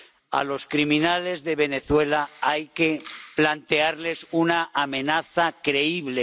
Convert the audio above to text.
A los criminales de Venezuela hay que plantearles una amenaza creíble.